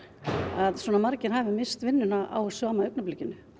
að svona margir hafi misst vinnuna á sama augnablikinu